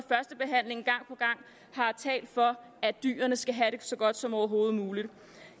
talt for at dyrene skal have det så godt som overhovedet muligt